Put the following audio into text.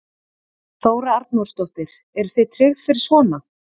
Þóra Arnórsdóttir: Eru þið tryggð fyrir svona?